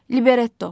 Libretto.